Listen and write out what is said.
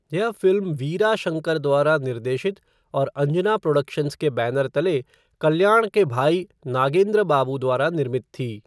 यह फ़िल्म वीरा शंकर द्वारा निर्देशित और अंजना प्रोडक्शंस के बैनर तले कल्याण के भाई नागेंद्र बाबू द्वारा निर्मित थी।